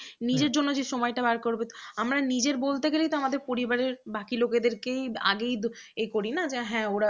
আমরা নিজের বলতে গেলেই তো আমাদের পরিবারের বাকি লোকেদের কে আগেই এ করি না হাঁ ওরা